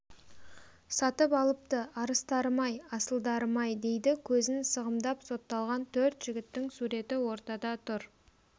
сатып алыпты арыстарым-ай асылдарым-ай дейді көзін сығымдап сотталған төрт жігіттің суреті ортада тұр